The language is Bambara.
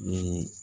Ni